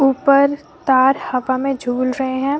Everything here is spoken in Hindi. ऊपर तार हवा में झूल रहे हैं।